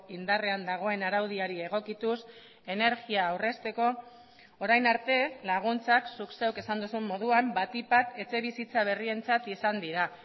indarrean dagoen araudiari egokituz energia aurrezteko orain arte laguntzak zuk zeuk esan duzun moduan batik bat etxebizitza berrientzat izan dira